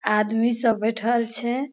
आदमी सब बैठल छै।